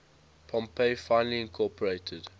pompey finally incorporated